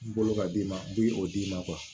N bolo ka d'i ma n bi o d'i ma